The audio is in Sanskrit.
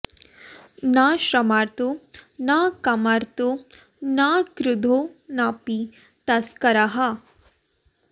न श्रमार्तो न कामार्तो न क्रुद्धो नापि तस्करः